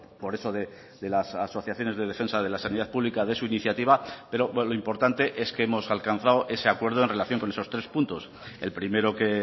por eso de las asociaciones de defensa de la sanidad pública de su iniciativa pero lo importante es que hemos alcanzado ese acuerdo en relación con esos tres puntos el primero que